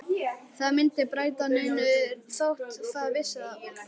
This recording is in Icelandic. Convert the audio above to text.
Það myndi ekki breyta neinu þótt það vissi það.